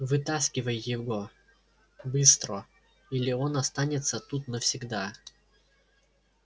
вытаскивай его быстро или он останется тут навсегда